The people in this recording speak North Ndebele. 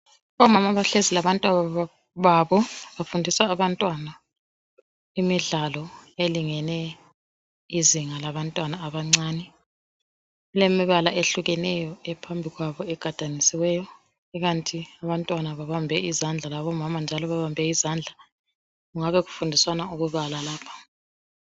Omama abahlezi labantwababo bafundisa abantwana imidlalo elingene izinga labantwana abancane. Kulemibala eyehlukeneyo ephambi kwabo egadanisiweyo ikanti abantwana babambe izandla labomama labo babambe izandla. Kungabe kufundiswana ukubala lapha.